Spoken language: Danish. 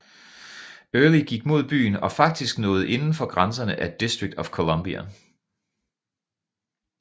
Early gik mod byen og faktisk nåede inden for grænserne af District of Columbia